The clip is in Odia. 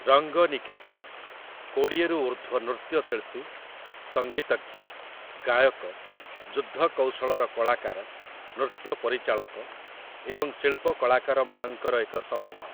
ରଙ୍ଗନିକେତନ', କୋଡ଼ିଏରୁ ଉର୍ଦ୍ଧ୍ୱ ନୃତ୍ୟଶିଳ୍ପୀ, ସଙ୍ଗୀତଜ୍ଞ, ଗାୟକ, ଯୁଦ୍ଧକୌଶଳର କଳାକାର, ନୃତ୍ୟ ପରିଚାଳକ ଏବଂ ଶିଳ୍ପ କଳାକାରମାନଙ୍କର ଏକ ସମୂହ ।